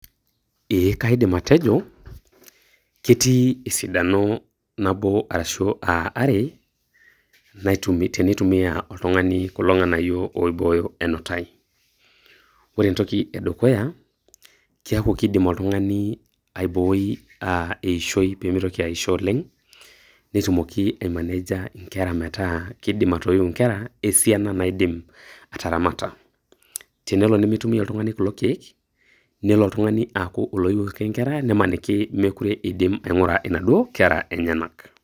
Eeeh kaidim atejo, ketii esidano nabo arashu are teneitumia oltung'ani kulo ng'anayio oibooyo enotai. Ore entoki e dukuya, keaku keidim oltung'ani aiboi eishoi pee meitoki aisho oleng' netumoki aimaneja inkera metaa keidim atoyiu inkera e siana naidim ataramata. Tenelo nemeitumia oltung'ani kulo keek, nelo oltung'ani aaku oloyiu ake inkera nemaniki mekore eidi ataramata inaduo kera enyena.